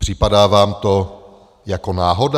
Připadá vám to jako náhoda?